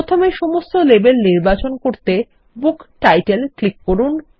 প্রথমেসমস্ত label নির্বাচন করতেBook title click করুন